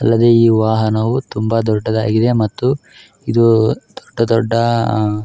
ಅಲ್ಲದೆ ಈ ವಾಹನವು ತುಂಬಾ ದೊಡ್ಡದಾಗಿದೆ ಮತ್ತು ಇದು ದೊಡ್ಡ ದೊಡ್ಡ ಅಹ್ --